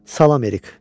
Salam Erik.